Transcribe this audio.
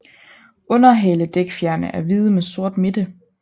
Underhaledækfjerene er hvide med sort midte